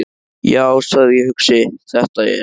Já, sagði ég hugsi: Þetta er.